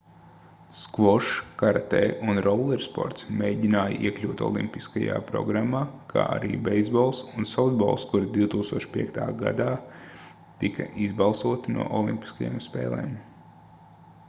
skvošs karatē un rollersports mēģināja iekļūt olimpiskajā programmā kā arī beisbols un softbols kuri 2005. gadā tika izbalsoti no olimpiskajām spēlēm